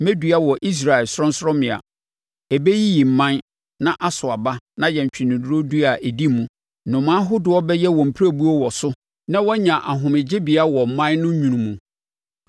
Mɛdua wɔ Israel sorɔnsorɔmmea. Ɛbɛyiyi mman na aso aba na ayɛ ntweneduro dua a ɛdi mu. Nnomaa ahodoɔ bɛyɛ wɔn mpirebuo wɔ so na wɔanya ahomegyebea wɔ mman no nwunu mu.